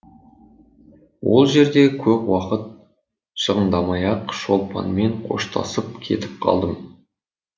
ол жерде көп уақыт шығындамай ақ шолпанмен қоштасып кетіп қалдым